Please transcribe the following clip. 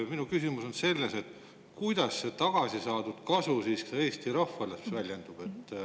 Minu küsimus on selles, et kuidas see tagasi saadud kasu Eesti rahvale väljendub.